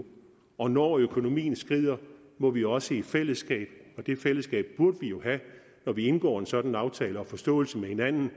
og når økonomien skrider må vi også i fællesskab og det fællesskab burde vi jo have når vi indgår en sådan aftale og forståelse med hinanden